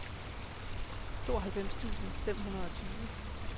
tooghalvfems tusind fem hundrede og tyve